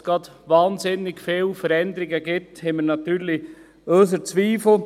Ob es gerade wahnsinnig viele Veränderungen gibt, daran haben wir unsere Zweifel.